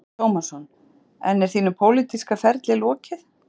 Telma Tómasson: En er þínum pólitíska ferli lokið?